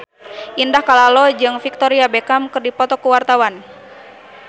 Indah Kalalo jeung Victoria Beckham keur dipoto ku wartawan